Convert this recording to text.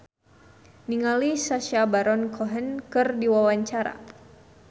Indra L. Bruggman olohok ningali Sacha Baron Cohen keur diwawancara